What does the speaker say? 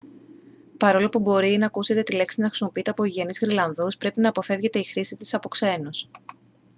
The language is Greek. παρόλο που μπορεί να ακούσετε τη λέξη να χρησιμοποιείται από γηγενείς γροιλανδούς πρέπει να αποφεύγεται η χρήση της από ξένους